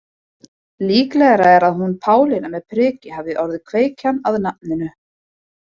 Líklegra er að hún Pálína með prikið hafi orðið kveikjan að nafninu.